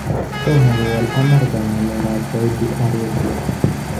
Tomokowol Amerika ngalek ab Saudi Arabia.